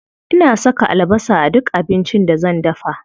Ina saka albasa a duk abincin da zan dafa.